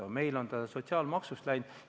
Aga meil on see sotsiaalmaksust sinna läinud.